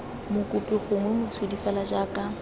mokopi gongwe motshodi fela jaaka